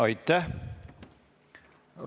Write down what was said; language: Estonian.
Aitäh!